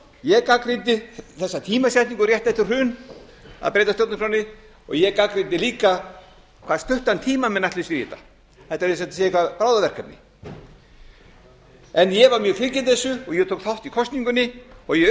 ég gagnrýndi þessa tímasetningu rétt eftir hrun að breyta stjórnarskránni og ég gagnrýndi líka hvað stuttan tíma menn ætli sér í þetta þetta er eins og þetta sé eitthvað bráðaverkefni ég var mjög fylgjandi þessu og ég tók þátt í kosningunni og ég